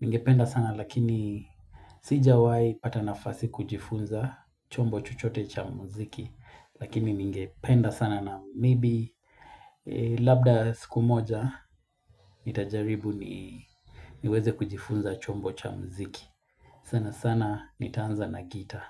Ningependa sana lakini sijawahi pata na fasi kujifunza chombo chochote cha muziki. Lakini ningependa sana na maybe labda siku moja nitajaribu niweze kujifunza chombo cha muziki. Sana sana nitaanza na gita.